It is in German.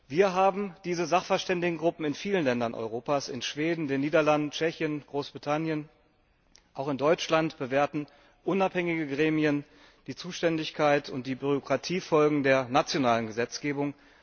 Wir haben diese Sachverständigengruppen in vielen Ländern Europas in Schweden, in den Niederlanden, in Tschechien, in Großbritannien auch in Deutschland bewerten unabhängige Gremien die Zuständigkeit und die Bürokratiefolgen der nationalen Gesetzgebung.